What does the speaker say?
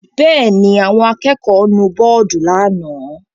Bẹ́ẹ̀ ni, àwọn akẹ́kọ̀ọ́ nu bọ́ọ́dù lánàá.